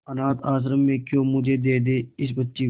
अनाथ आश्रम में क्यों मुझे दे दे इस बच्ची को